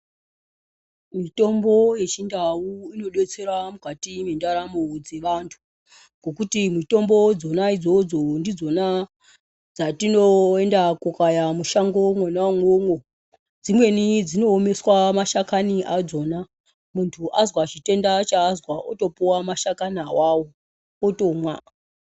Mitombo yechindau inodetserao mukati mwendaramo dzevanthu nekuti mitombo dzona idzodzo ndidzona dzatinornda kokaya mushango mwona umwomwo dzimweni dzinoomeswa mashakani adzona munthu azwa chitenda chaazwa otopuwa mashakani awawo otomwa.